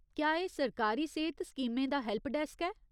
क्या एह् सरकारी सेह्त स्कीमें दा हैल्पडैस्क ऐ ?